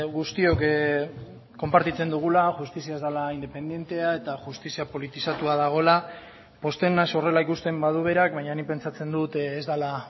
guztiok konpartitzen dugula justizia ez dela independentea eta justizia politizatua dagoela pozten naiz horrela ikusten badu berak baina nik pentsatzen dut ez dela